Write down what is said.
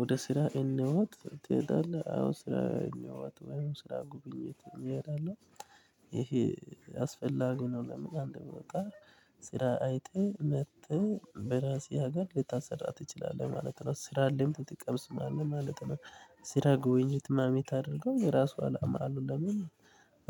ወደ ስራ እንዋት ትሄዳለህ አዎ ስራ እኝዋት ወይም ስራ ጉብኝት እኔ እላለሁ። ይሄ አስፈላጊ ነው። ለምን አንድ ቦታ ስራ አይተህ መጥተህ በራሴ ሀገር ልታሰራ ትችላለህ። ማለት ነው ስራ ልምድ ትቀምስ ማለት ነው። ስራ ጎብኝት ማምት አድርገው የራሱ አላማ አሉ ለምን